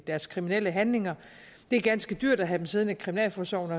deres kriminelle handlinger det er ganske dyrt at have dem siddende i kriminalforsorgens